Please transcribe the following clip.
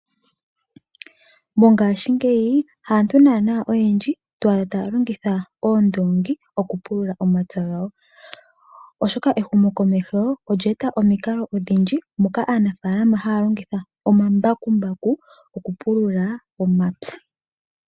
Mongashingeyi haantu naanaa ayehe to adha taya longitha oondoongi okupulula omapya gawo, oshoka ehumokomeho olya eta omikalo odhindji moka aanafaalama haya longitha omambakumbaku okupulula omapya.